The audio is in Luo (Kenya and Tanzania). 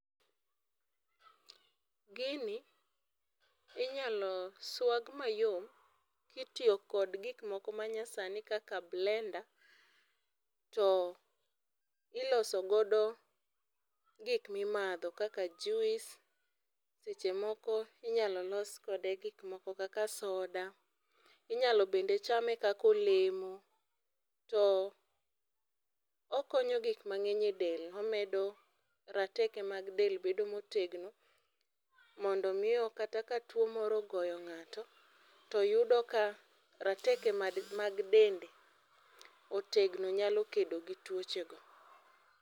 Gini inyalo swag mayom kitiyo kod gik moko manyasani kaka blender to iloso godo gik mimadho kaka juice, seche moko inyalo loso godo gikmoko kaka soda, inyalo bende chame kaka olemo to okonyo gik mangeny e del, omedo rateke mag del bedo motegno mondo mi kata ka tuo moro ogoyo ngato to yudo ka rateke mag dende otegno nyalo kedo gi tuoche go